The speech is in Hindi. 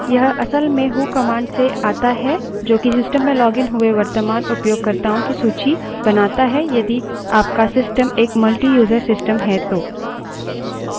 यह असल में who command से आता है जोकि system में लॉगिन हुए वर्त्तमान उपयोगकर्ताओं की सूची बनाता है यदि आपका system एक मल्टीयूज़र system है तो